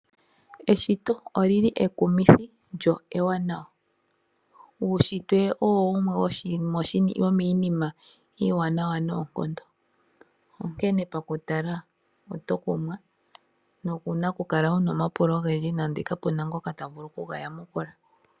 Eshito olili ekumithi lyo ewanawa. Uushitwe owo wumwe womiinima iiwanawa noonkondo. Onkene pakutala oto kumwa nowuna okukala wuna omapulo ogendji nande kapuna ngoka ta vulu okuga yamukula.